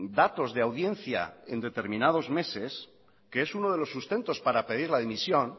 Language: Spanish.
datos de audiencia en determinados meses que es uno de los sustentos para pedir la dimisión